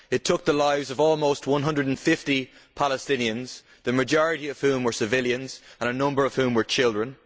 It took the lives of almost 150 Palestinians, the majority of whom were civilians, and a number of whom were children.